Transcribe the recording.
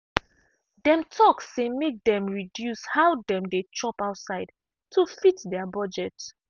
dem talk say make dem reduce how dem dey chop outside to fit their budget.